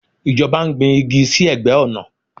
Ìjọba ń gbin igi sí ẹ̀gbẹ́ ọ̀nà.